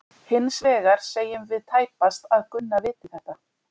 Hins vegar segjum við tæpast að Gunna viti þetta.